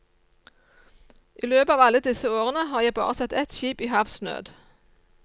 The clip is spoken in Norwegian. I løpet av alle disse årene har jeg bare sett ett skip i havsnød.